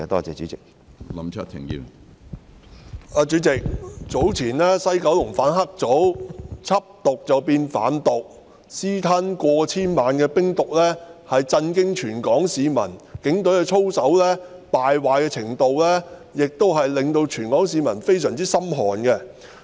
主席，早前西九龍反黑組有警員緝毒變販毒，私吞過千萬元冰毒，震驚全港市民，警隊操守的敗壞程度令全港市民非常心寒。